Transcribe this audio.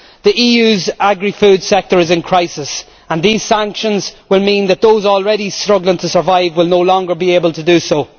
The EU's agri food sector is in crisis and these sanctions will mean that those already struggling to survive will no longer be able to do so.